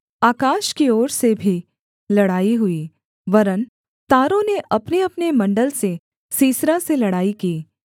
आकाश की ओर से भी लड़ाई हुई वरन् तारों ने अपनेअपने मण्डल से सीसरा से लड़ाई की